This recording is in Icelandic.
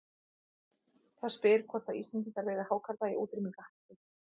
Það spyr hvort að Íslendingar veiði hákarla í útrýmingarhættu.